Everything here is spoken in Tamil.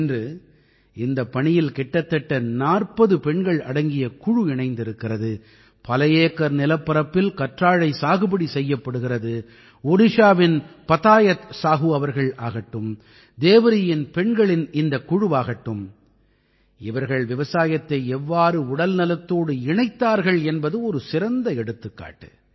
இன்று இந்தப் பணியில் கிட்டத்தட்ட 40 பெண்கள் அடங்கிய குழு இணைந்திருக்கிறது பல ஏக்கர் நிலப்பரப்பில் கற்றாழை சாகுபடி செய்யப்படுகிறது ஒடிஷாவின் பதாயத் சாஹூ அவர்கள் ஆகட்டும் தேவரீயின் பெண்களின் இந்தக் குழுவாகட்டும் இவர்கள் விவசாயத்தை எவ்வாறு உடல்நலத்தோடு இணைத்தார்கள் என்பது ஒரு சிறந்த எடுத்துக்காட்டு